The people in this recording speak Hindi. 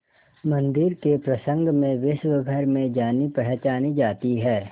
मंदिर के प्रसंग में विश्वभर में जानीपहचानी जाती है